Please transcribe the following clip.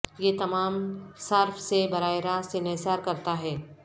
یہ تمام صارف سے براہ راست انحصار کرتا ہے